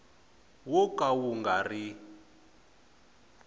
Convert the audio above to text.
wo ka wu nga ri